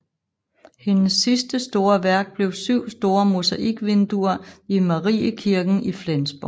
Hendes sidste store værk blev syv store mosaikvinduer i Mariekirken i Flensborg